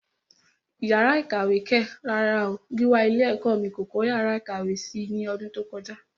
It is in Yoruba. Yàrá ìkàwé kẹ̀! rárá o, Gíwá ilé ẹ̀kọ́ mí kò kọ́ yàrá ìkàwé si ní ọdún tó kọjá.